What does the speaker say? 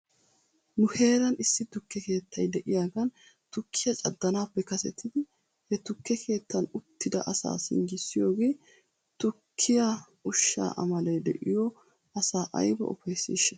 Nu heeran issi tukke keettay de'iyaagan tukkiyaa caddanaappe kasetidi he tukke keettan uttida asaa singgissiyoogee tukkiyaa ushshaa amalee de'iyoo asaa ayba ufayssiishsha?